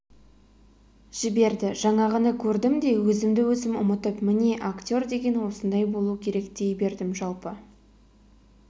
жіберді жаңағыны көрдім де өзімді-өзім ұмытып міне актер деген осындай болу керек дей бердім жалпы